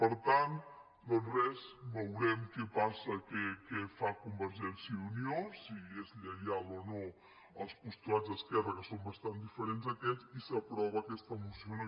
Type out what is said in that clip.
per tant doncs res veurem què passa què fa conver·gència i unió si és lleial o no als postulats d’esquerra que són bastant diferents a aquest i s’aprova aquesta moció o no